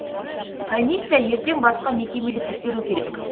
комиссия ертең басқа мекемені тексеру керек